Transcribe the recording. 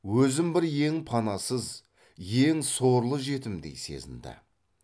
өзін бір ең панасыз ең сорлы жетімдей сезінді